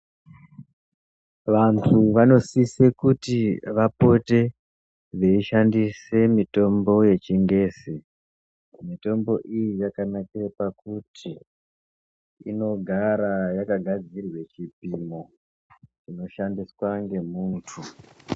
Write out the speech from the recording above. Vantu vanosise kuti vapote veishandise mitombo yechingezi mitombo iyi yakanakira pakuti inogara yakagadzirirwa chipimo chinoshandiswa ngemuntu.